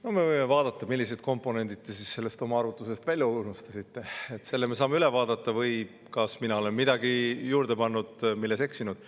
No me võime vaadata, millised komponendid te oma arvutusest välja unustasite – selle me saame üle vaadata – või kas mina olen midagi juurde pannud, milles eksinud.